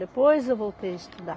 Depois, eu voltei a estudar.